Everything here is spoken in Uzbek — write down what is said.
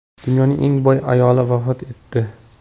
Dunyoning eng boy ayoli vafot etdi.